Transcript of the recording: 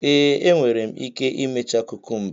Ee, enwere m ike imecha kukumba.